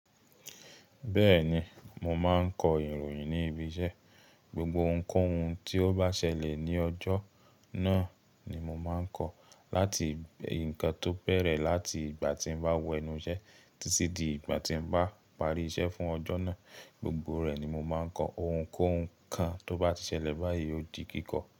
Bẹ́ẹ̀ni, mo máa ń kọ ìròyìn ní ibi iṣẹ́. Gbogbo ohunkóhun tí ó bá ṣẹlẹ̀ ní ọjọ́ náà ni mo máa ń kọ. Láti ǹnkan tó bẹ̀rẹ̀ láti ìgbà tí n bá wọ enú iṣẹ́ títí di ìgbà tí n bá parí iṣẹ́ fún ọjọ́ náà, gbogbo rẹ̀ ni mo máa ń kọ. Ohunkóhun kan tó bá ti ṣẹlẹ̀ báyìí yóò di kíkọ.